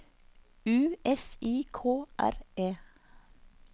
U S I K R E